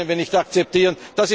Das können wir nicht akzeptieren!